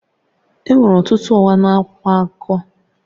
Enwere ọtụtụ ụgha na akwụkwọ akụkọ